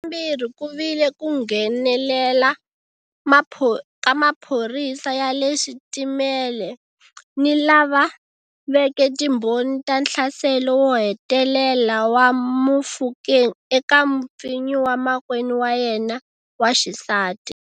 Xa vumbirhi ku vile ku nghenelela ka maphorisa ya le switimele ni lava veke timbhoni ta nhlaselo wo hetelela wa Mofokeng eka mupfinyi wa makwenu wa yena wa xisati.